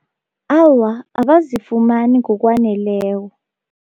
Awa, abazifumani ngokwaneleko.